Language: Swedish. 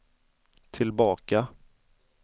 tillbaka